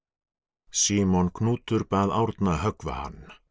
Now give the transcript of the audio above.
Símon Knútur bað Árna höggva hann